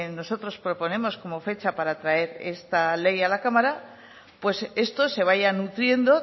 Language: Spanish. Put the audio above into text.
nosotros proponemos como fecha para traer esta ley a la cámara pues esto se vaya nutriendo